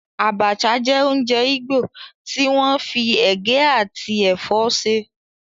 Abacha jẹ́ oúnjẹ igbó tí wọ́n fi ege àti ẹ̀fọ́ ṣe.